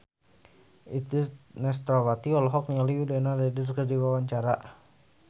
Itje Tresnawati olohok ningali Winona Ryder keur diwawancara